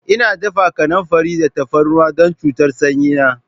Ina dafa kanamfari da tafarnuwa don cutar sanyi na.